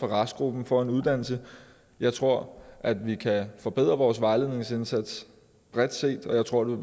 restgruppen får en uddannelse jeg tror at vi kan forbedre vores vejledningsindsats bredt set og jeg tror det